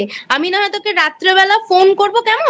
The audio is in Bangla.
আমি নাহয় তোকে রাত্রিবেলা Phone করব কেমন?